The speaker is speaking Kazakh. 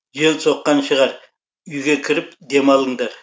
жел соққан шығар үйге кіріп демалыңдар